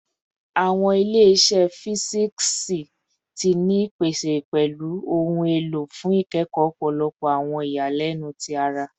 Awọn ile-iṣẹ fisiksi ti ni ipese pẹlu ohun elo fun ikẹkọ ọpọlọpọ awọn iyalẹnu ti ara